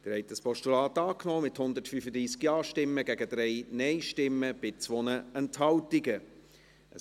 Sie haben das Postulat mit 135 Ja- gegen 3 Nein-Stimmen bei 2 Enthaltungen angenommen.